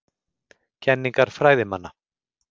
Kenningar fræðimanna.